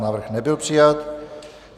Návrh nebyl přijat.